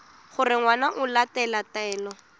gore ngwana o latela taelo